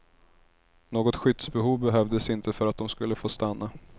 Något skyddsbehov behövdes inte för att de skulle få stanna.